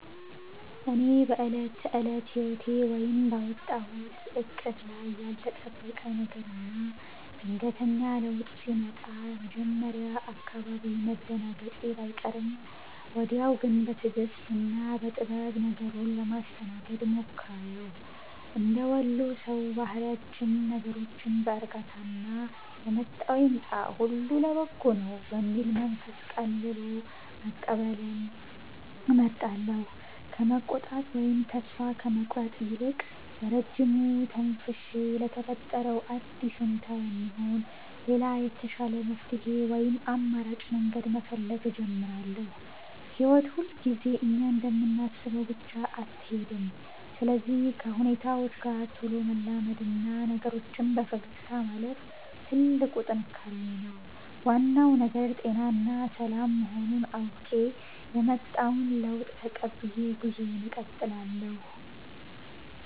እኔ በዕለት ተዕለት ሕይወቴ ወይም ባወጣሁት ዕቅድ ላይ ያልተጠበቀ ነገርና ድንገተኛ ለውጥ ሲመጣ መጀመሪያ አካባቢ መደናገጤ ባይቀርም፣ ወዲያው ግን በትዕግሥትና በጥበብ ነገሩን ለማስተናገድ እሞክራለሁ። እንደ ወሎ ሰው ባህሪያችን ነገሮችን በዕርጋታና «የመጣው ይምጣ፣ ሁሉ ለበጎ ነው» በሚል መንፈስ ቀልሎ መቀበልን እመርጣለሁ። ከመቆጣት ወይም ተስፋ ከመቁረጥ ይልቅ፣ በረጅሙ ተንፍሼ ለተፈጠረው አዲስ ሁኔታ የሚሆን ሌላ የተሻለ መፍትሔ ወይም አማራጭ መንገድ መፈለግ እጀምራለሁ። ሕይወት ሁልጊዜ እኛ እንደምናስበው ብቻ አትሄድም፤ ስለዚህ ከሁኔታዎች ጋር ቶሎ መላመድና ነገሮችን በፈገግታ ማለፍ ትልቁ ጥንካሬዬ ነው። ዋናው ነገር ጤናና ሰላም መሆኑን አውቄ፣ የመጣውን ለውጥ ተቀብዬ ጉዞዬን እቀጥላለሁ።